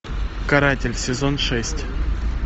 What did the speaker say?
каратель сезон шесть